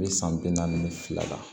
U bɛ san bi naani ni fila la